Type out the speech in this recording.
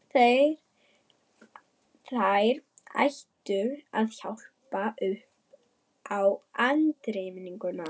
Þær ættu að hjálpa upp á andremmuna.